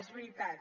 és veritat